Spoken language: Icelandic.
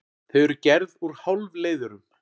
Þau eru gerð úr hálfleiðurum.